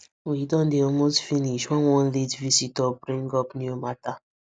we don dey almost finish when one late visitor bring up new matter